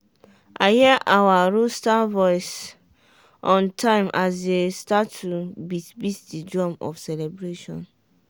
i hear our rooster voice on time as dem start to beat beat the drum of celebration.